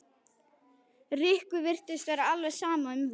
Rikku virtist vera alveg sama um það.